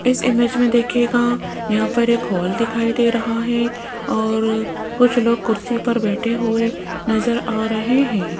इस इमेज में देखिएगा यहां पर एक हॉल दिखाई दे रहा है और कुछ लोग कुर्सियां पर बैठे हुए नज़र आ रहे हैं।